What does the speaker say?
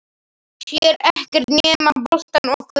Sér ekkert nema boltann og körfuna.